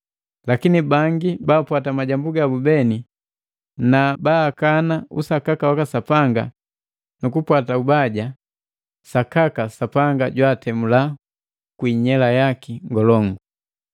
Lakini bangi baapwata majambu gabu beni na baakana usakaka waka Sapanga nukupwata ubaja, sakaka Sapanga jwaatemula kwii nyela yaki ngolongu.